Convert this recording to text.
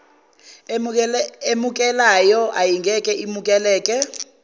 emukelayo ayingeke imukeleke